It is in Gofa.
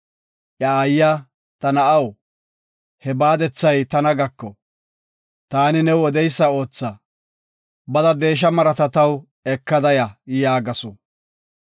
Iya aayiya, “Ta na7aw, he baadethay tana gako. Taani new odeysa ootha, bada deesha marata taw ekada ya” yaagasu.